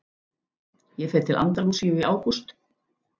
Ég fer til Andalúsíu í ágúst.